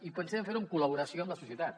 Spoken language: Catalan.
i pensem fer ho en col·laboració amb la societat